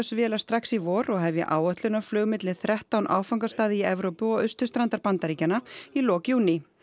vélar strax í vor og hefja áætlunarflug milli þrettán áfangastaða í Evrópu og austurstrandar Bandaríkjanna í lok júní